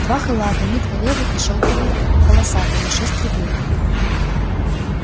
два халата миткалёвый и шёлковый полосатый на шесть рублей